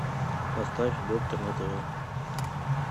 поставь доктор на тв